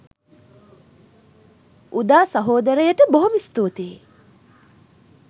උදා සහෝදරයට බොහොම ස්තූතියි